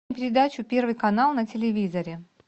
передачу первый канал на телевизоре